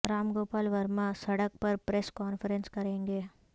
رام گوپال ورما سڑک پر press conference کریں گے